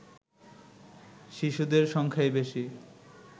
শিশুদের সংখ্যাই বেশি